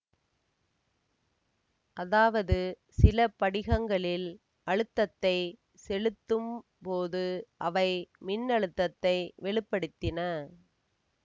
அதாவது சில படிகங்களில் அழுத்தத்தைச் செலுத்தும் போது அவை மின்னழுத்தத்தை வெளி படுத்தின